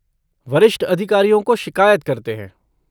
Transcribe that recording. वरिष्ठ अधिकारियों को शिकायत करते हैं।